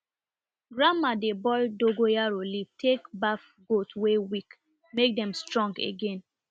grandma dey boil dogoyaro leaf take baff goat wey weak make dem strong again